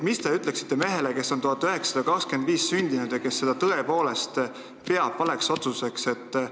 Mis te ütleksite mehele, kes on sündinud 1925. aastal ja kes peab seda tõepoolest valeks otsuseks?